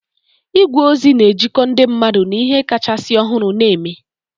Igwe ozi na-ejikọ ndị mmadụ na ihe kachasị ọhụrụ na-eme